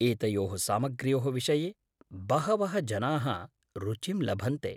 एतयोः सामग्र्योः विषये बहवः जनाः रुचिं लभन्ते।